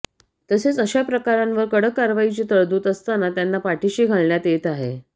तसेच अशा प्रकारांवर कडक कारवाईची तरतूद असताना त्यांना पाठीशी घालण्यात येत आहे